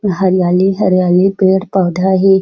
हरियाली - हरियाली पेड़ पौधा हे ।